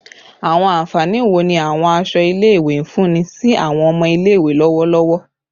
Awọn anfani wo ni awọn aṣọ ile-iwe nfunni si awọn ọmọ ile-iwe lọwọlọwọ?